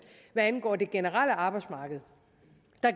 angår det generelle arbejdsmarked